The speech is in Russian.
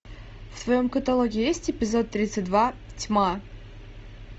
в твоем каталоге есть эпизод тридцать два тьма